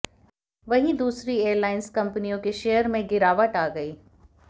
वहीं दूसरी एयरलाइंस कंपनियों के शेयर में गिरावट आ गई